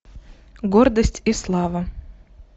гордость и слава